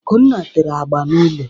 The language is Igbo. Akunna tere agba n'ulo.